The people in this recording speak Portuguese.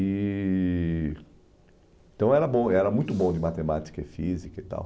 E Então, era muito bom de matemática e física e tal.